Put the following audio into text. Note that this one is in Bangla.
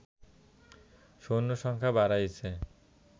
সৈন্য সংখ্যা বাড়িয়েছে